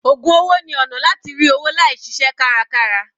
Ògùn owó ni ọ̀nà láti rí owó láì ṣiṣẹ́ kárakára.